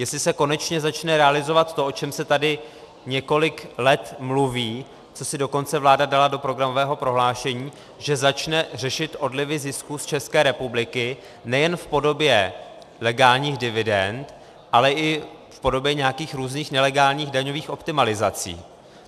Jestli se konečně začne realizovat to, o čem se tady několik let mluví, co si dokonce vláda dala do programového prohlášení, že začne řešit odlivy zisků z České republiky nejen v podobě legálních dividend, ale i v podobě nějakých různých nelegálních daňových optimalizací.